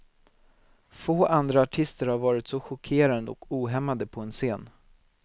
Få andra artister har varit så chockerande och ohämmade på en scen.